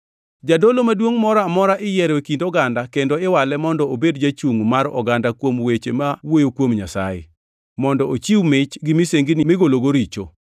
Jadolo maduongʼ moro amora iyiero e kind oganda kendo iwale mondo obedo jachungʼ mar oganda kuom weche ma wuoyo kuom Nyasaye, mondo ochiw mich gi misengini migologo richo.